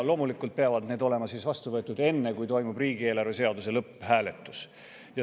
Loomulikult peavad need olema vastu võetud enne, kui toimub riigieelarve seaduse lõpphääletus.